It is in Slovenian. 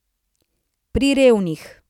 Pri revnih.